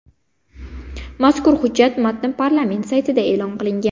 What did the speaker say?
Mazkur hujjat matni parlament saytida e’lon qilingan .